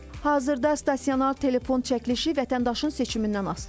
Hazırda stasionar telefon çəkilişi vətəndaşın seçimindən asılıdır.